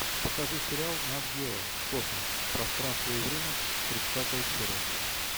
покажи сериал нат гео космос пространство и время тридцатая серия